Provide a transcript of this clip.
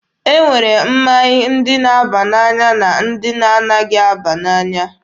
E nwere mmanya ndị na-aba n'anya na ndị na anaghị aba n'anya.